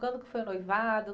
Quando que foi o noivado?